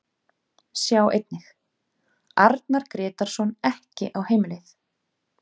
Sjá einnig: Arnar Grétarsson ekki á heimleið